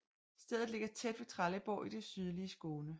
Stedet ligger tæt ved Trelleborg i det sydlige Skåne